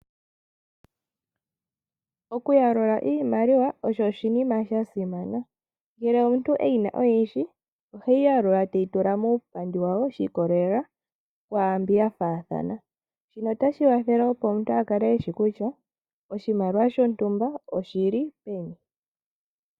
Okuyalula iimaliwa osho oshinima shasimana. Ngele omuntu eyina oyindji oheyi yalula teyi tula muupandi shiikolela kwaambi yafaathana. Shino otashi wathele opo omuntu a kale eshi kutya oshimaliwa shontumba oshili peni.